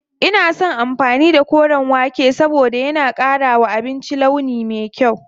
Ina son amfani da koren wake saboda yana ƙara wa abinci launi me kyau.